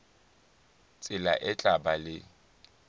tsela e tla ba le